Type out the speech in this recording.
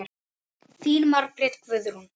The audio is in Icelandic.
Þín Margrét Guðrún.